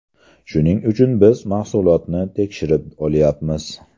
Shuning uchun biz mahsulotni tekshirib olyapmiz.